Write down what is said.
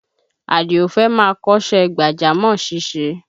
Àdìó fẹ́ máa kọ́ṣẹ́ gbàjámọ̀ ṣíṣe